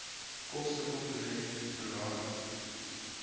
kostekomponent pro rata